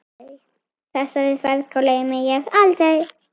Þessari ferð gleymi ég aldrei.